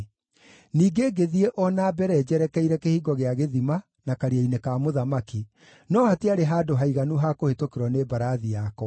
Ningĩ ngĩthiĩ o na mbere njerekeire Kĩhingo gĩa Gĩthima na Karia-inĩ ka Mũthamaki, no hatiarĩ handũ haiganu ha kũhĩtũkĩrwo nĩ mbarathi yakwa;